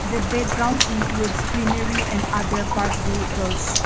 the background includes greenery and other park vehicles.